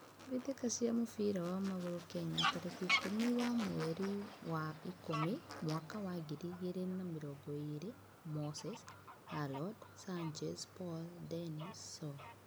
Mbitika cia mũbira wa magũrũ Kenya tarĩki ikũmi wa mweri wa Ikũmi mwaka wa ngiri igĩrĩ na mĩrongo ĩĩrĩ: Moses, Hallod, Sanchez, Paul, Dennis, Saul